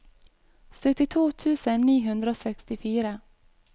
syttito tusen ni hundre og sekstifire